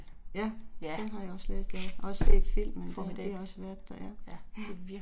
Ja, formidabel, ja, ja